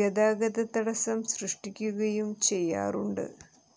ഗതാഗത തടസ്സം സൃഷ്ടിക്കുകയും ചെയ്യാറുണ്ട്